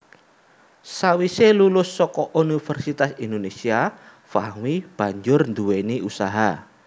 Sawise lulus saka Universitas Indonésia Fahmi banjur nduwèni usaha